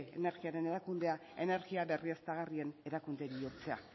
eve energiaren erakundea energia berriztagarrien erakunde bihurtzea